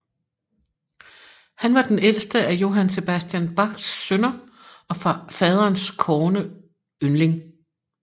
Han var den ældste af Johann Sebastian Bachs sønner og faderens kårne yndling